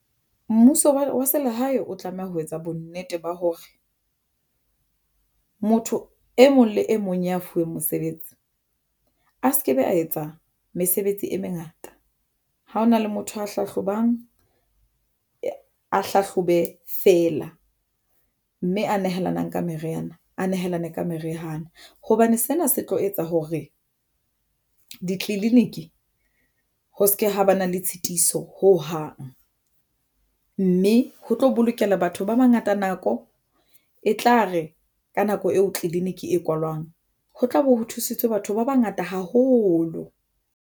Mmuso wa selehae o tlameha ho etsa bonnete ba hore motho e mong le e mong ya fuweng mosebetsi a se ke be a etsa mesebetsi e mengata. Ha hona le motho a hlahlobang a hlahlobe feela mme a nehelanang ka meriana a nehelane ka meriana. Hobane sena se tlo etsa hore di clinic ho se ke ha ba na le tshitiso ho hang mme ho tlo bolokela batho ba bangata nako e tla re ka nako eo clinic e kwalwang ho tlabe ho thusitswe batho ba bangata haholo.